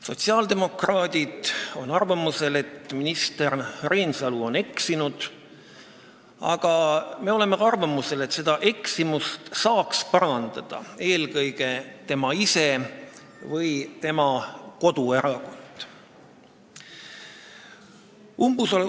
Sotsiaaldemokraadid on arvamusel, et minister Reinsalu on eksinud, aga meie arvates saab selle eksimuse parandada eelkõige tema ise või siis tema koduerakond.